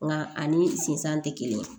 Nka ani sinsan tɛ kelen